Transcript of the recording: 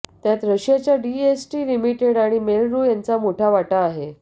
त्यात रशियाच्या DST limited आणि मेल रू यांचा मोठा वाटा आहे